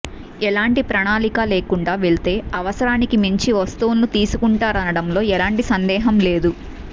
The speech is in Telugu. ఎలాంటి ప్రణాళిక లేకుండా వెళ్తే అవసరానికి మించి వస్తువులను తీసుకుంటారనడంలో ఎలాంటి సందేహం లేదు